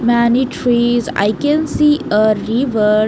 Many trees I can see a river.